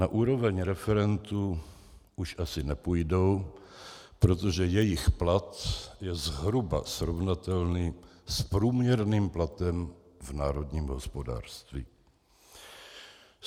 Na úroveň referentů už asi nepůjdou, protože jejich plat je zhruba srovnatelný s průměrným platem v národním hospodářství.